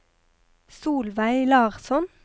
Solveig Larsson